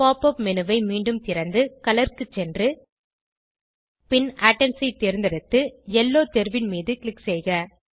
pop up menu ஐ மீண்டும் திறந்து கலர் க்கு சென்று பின் ஏட்டம்ஸ் ஐ தேர்ந்தெடுத்து யெல்லோ தேர்வின் மீது க்ளிக் செய்க